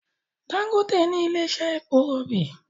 Dangote ní ilè iṣe èpo robi